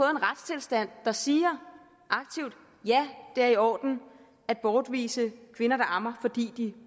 en retstilstand der aktivt siger ja det er i orden at bortvise kvinder der ammer fordi de